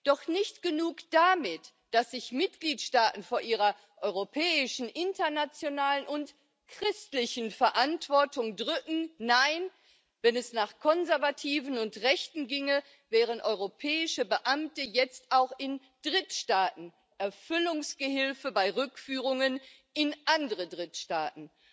Doch nicht genug damit, dass sich Mitgliedstaaten vor ihrer europäischen, internationalen und christlichen Verantwortung drücken, nein, wenn es nach Konservativen und Rechten ginge, wären europäische Beamte jetzt auch in Drittstaaten Erfüllungsgehilfe bei Rückführungen in andere Drittstaaten.